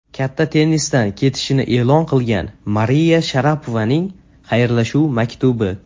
Katta tennisdan ketishini e’lon qilgan Mariya Sharapovaning xayrlashuv maktubi.